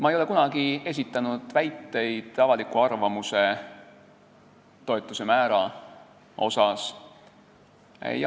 Ma ei ole kunagi esitanud väiteid avaliku arvamuse toetuse määra kohta.